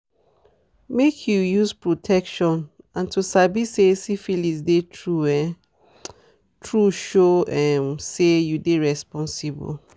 make you use protection and to sabi say syphilis dey true um true show um say you dey responsible